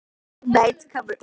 Angelíka, hvenær kemur nían?